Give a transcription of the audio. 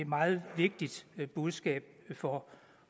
meget vigtigt budskab for